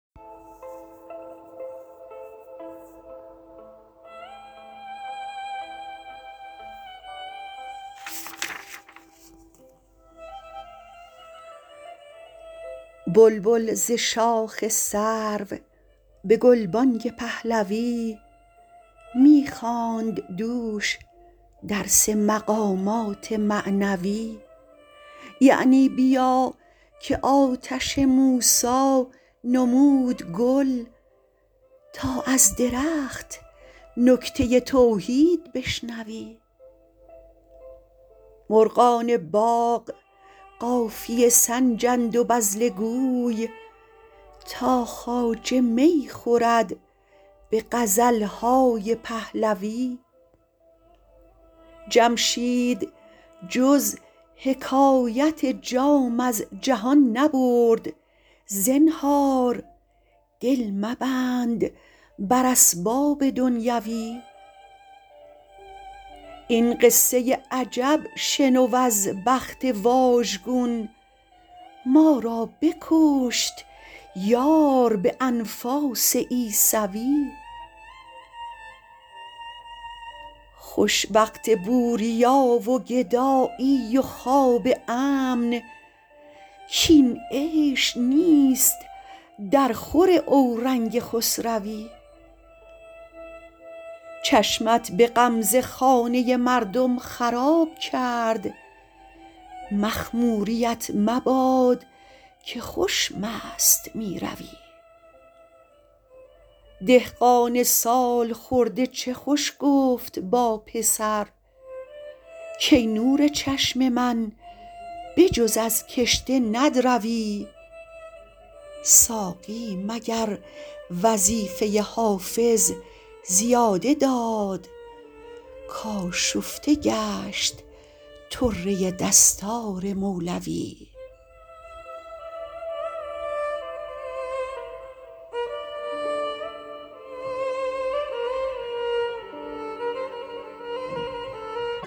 بلبل ز شاخ سرو به گلبانگ پهلوی می خواند دوش درس مقامات معنوی یعنی بیا که آتش موسی نمود گل تا از درخت نکته توحید بشنوی مرغان باغ قافیه سنجند و بذله گوی تا خواجه می خورد به غزل های پهلوی جمشید جز حکایت جام از جهان نبرد زنهار دل مبند بر اسباب دنیوی این قصه عجب شنو از بخت واژگون ما را بکشت یار به انفاس عیسوی خوش وقت بوریا و گدایی و خواب امن کاین عیش نیست درخور اورنگ خسروی چشمت به غمزه خانه مردم خراب کرد مخموریـت مباد که خوش مست می روی دهقان سال خورده چه خوش گفت با پسر کای نور چشم من به جز از کشته ندروی ساقی مگر وظیفه حافظ زیاده داد کآشفته گشت طره دستار مولوی